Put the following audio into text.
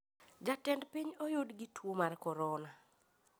Jatend piny oyud gi tuo mar korona